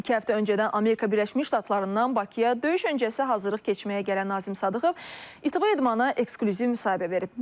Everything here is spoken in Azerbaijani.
İki həftə öncədən Amerika Birləşmiş Ştatlarından Bakıya döyüş öncəsi hazırlıq keçməyə gələn Nazim Sadıqov İTV İdmana eksklüziv müsahibə verib.